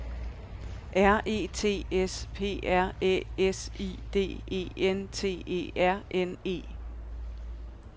R E T S P R Æ S I D E N T E R N E